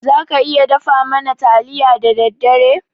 Za ka iya dafa mana taliya da daddare?